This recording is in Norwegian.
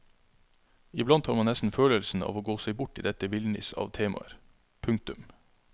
Iblant har man nesten følelsen av å gå seg bort i dette villniss av temaer. punktum